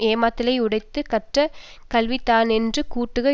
ஏமமாதலை யுடைத்து கற்ற கல்வி தானென்று கூட்டுக